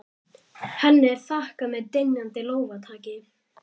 Henni er þakkað með dynjandi lófataki.